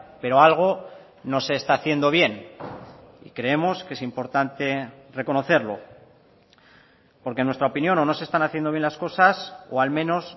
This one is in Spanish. pero algo no se está haciendo bien y creemos que es importante reconocerlo porque en nuestra opinión o no se están haciendo bien las cosas o al menos